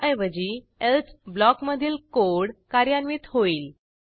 त्याऐवजी एल्से ब्लॉकमधील कोड कार्यान्वित होईल